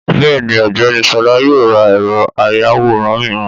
Bẹ́ẹ̀ni Ògbẹ́ni Ṣọlá yóò ra ẹ̀rọ àyawòran miran